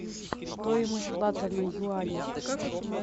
стоимость лата на юани